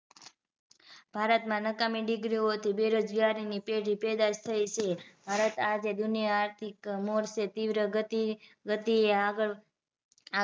ભારતમાં નકામી degree હોવાથી બેરોજગારીની પેલી પેદાસ થઇ છે. ભારત આ જે દુનિયા આર્થિક mode છે તીવ્ર ગતિ ગતિએ આગળ આગ